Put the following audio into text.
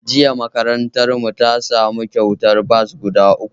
Jiya makarantarmu ta samu kyautar bas guda uku